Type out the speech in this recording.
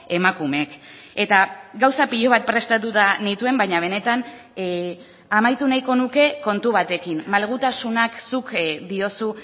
emakumeek eta gauza pilo bat prestatuta nituen baina benetan amaitu nahiko nuke kontu batekin malgutasunak zuk diozu